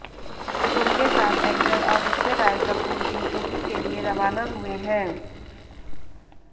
उनके साथ एक्टर आदित्य रॉय कपूर भी ऊटी के लिए रवाना हुए हैं